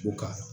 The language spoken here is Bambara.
U ka